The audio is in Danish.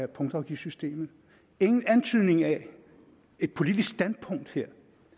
punktafgiftssystemet ingen antydning af et politisk standpunkt her